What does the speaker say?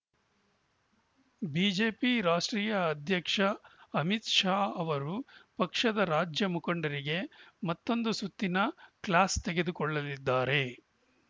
BJP ರಾಷ್ಟ್ರೀಯ ಅಧ್ಯಕ್ಷ ಅಮಿತ್‌ ಶಾ ಅವರು ಪಕ್ಷದ ರಾಜ್ಯ ಮುಖಂಡರಿಗೆ ಮತ್ತೊಂದು ಸುತ್ತಿನ ಕ್ಲಾಸ್‌ ತೆಗೆದುಕೊಳ್ಳಲಿದ್ದಾರೆ